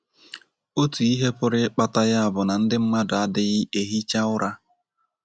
Otu ihe pụrụ ịkpata ya bụ na ndị mmadụ adịghị ehicha ụra.